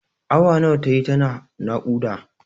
Awa nawa tayi tana naƙuda?